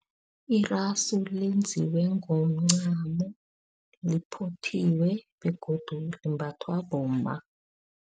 Irasu lenziwe ngomncamo, liphothiwe begodu limbathwa bomma.